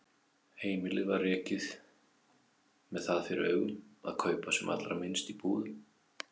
Heimilið var rekið með það fyrir augum að kaupa sem allra minnst í búðum.